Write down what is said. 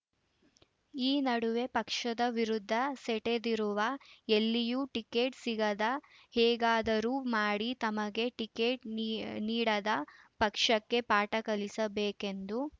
ಈ ನಡುವೆ ಪಕ್ಷದ ವಿರುದ್ಧ ಸೆಟೆದಿರುವ ಎಲ್ಲಿಯೂ ಟಿಕೆಟ್‌ ಸಿಗದೆ ಹೇಗಾದರೂ ಮಾಡಿ ತಮಗೆ ಟಿಕೆಟ್‌ ನೀಡದ ಪಕ್ಷಕ್ಕೆ ಪಾಠ ಕಲಿಸಬೇಕೆಂದು